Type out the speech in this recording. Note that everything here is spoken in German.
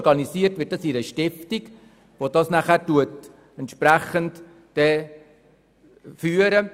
Organisiert wird das Projekt in einer Stiftung, die das Projekt führt.